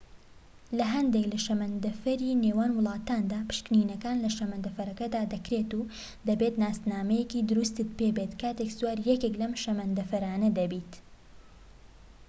لە هەندێك لە شەمەندەفەری نێوان وڵاتاندا پشکنینەکان لە شەمەندەفەرەکدا دەکرێت و دەبێت ناسنامەیەکی دروستت پێبێت کاتێك سواری یەکێك لەم شەمەندەفەرانە دەبیت